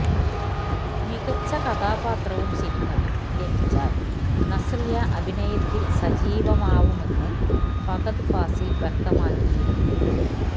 മികച്ച കഥാപാത്രവും സിനിമയും ലഭിച്ചാല് നസ്രിയ അഭിനയത്തില് സജീവമാവുമെന്ന് ഫഹദ് ഫാസില് വ്യക്തമാക്കിയിരുന്നു